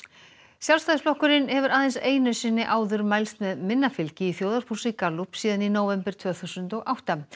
Sjálfstæðisflokkurinn hefur aðeins einu sinni áður mælst með minna fylgi í þjóðarpúlsi Gallup síðan í nóvember tvö þúsund og átta